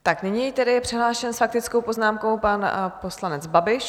Tak nyní je tedy přihlášen s faktickou poznámkou pan poslanec Babiš.